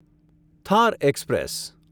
Thar express